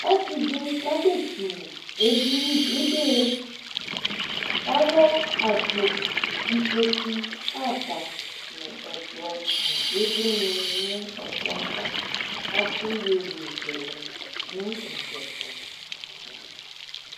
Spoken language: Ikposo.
Ɔsɩ dɩ kasɛsuwu edini, ɩdɩlɩ kʋ alɛ akpo, ikpoku, ada nʋ ɛkplɔ nʋ ɩvlɩnɩ nʋ ɛkplɔ yɛ ava kʋ atʋ iyeyezɛlɛ nʋ ugli yɛ tʋ